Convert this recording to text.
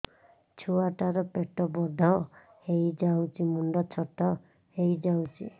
ଛୁଆ ଟା ର ପେଟ ବଡ ହେଇଯାଉଛି ମୁଣ୍ଡ ଛୋଟ ହେଇଯାଉଛି